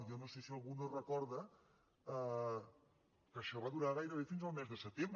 jo no sé si algú no recorda que això va durar gairebé fins al mes de setembre